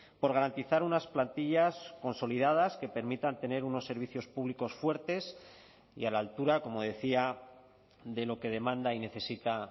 por garantizar unas plantillas consolidadas que permitan tener unos servicios públicos fuertes y a la altura como decía de lo que demanda y necesita